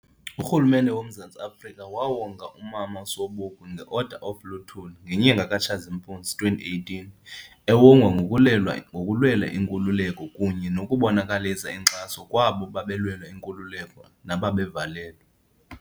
Urhulumente woMzantsi Afrika wawonga umama uSobukwe nge-Order of luthuli ngenyanga kaTshazimpuzi 2018 ewongwa ngokulwela inkululeko kunye nokubonakalisa inkxaso kwabo babelwela inkululeko nababevalelwe.